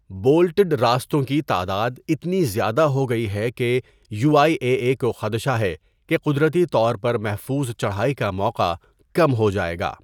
Bolted راستوں کی تعداد اتنی زیادہ ہو گئی ہے کہ یو آئ اے اے کو خدشہ ہے کہ قدرتی طور پر محفوظ چڑھائی کا موقع کم ہو جائے گا۔